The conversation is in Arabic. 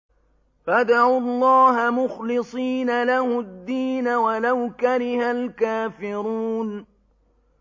فَادْعُوا اللَّهَ مُخْلِصِينَ لَهُ الدِّينَ وَلَوْ كَرِهَ الْكَافِرُونَ